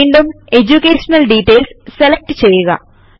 വീണ്ടും education details select ചെയ്യുക